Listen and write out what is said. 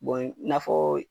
i n'a fɔ